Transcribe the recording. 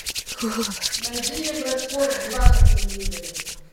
найди евроспорт два на телевизоре